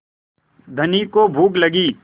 धनी को भूख लगी